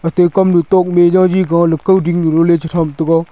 atai kam lu tok nu ji jow gow leko ding nu nu ley ji jam tega.